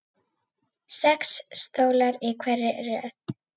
Sex stólar í hverri röð.